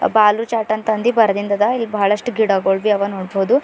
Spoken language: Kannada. ಬಾಲು ಚಾಟ್ ಅಂತ ಅಂದಿ ಬರೆದಿಂದದ ಇಲ್ಲಿ ಬಹಳಷ್ಟು ಗಿಡಗೊಳ್ವಿ ಅವ ನೋಡ್ಬೋದು.